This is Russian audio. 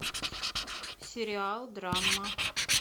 сериал драма